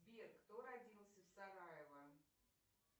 сбер кто родился в сараево